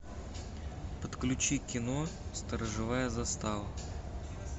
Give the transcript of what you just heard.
подключи кино сторожевая застава